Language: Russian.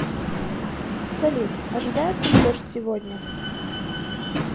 салют ожидается ли дождь сегодня